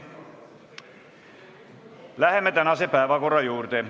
Läheme tänase päevakorra juurde.